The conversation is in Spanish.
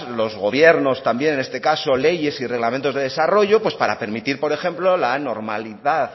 los gobiernos también en este caso leyes y reglamentos de desarrollo para permitir por ejemplo la normalidad